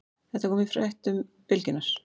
Þetta kom fram í fréttum Bylgjunnar